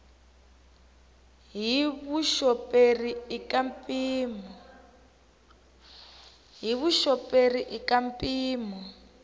hi vuxoperi i ka mpimo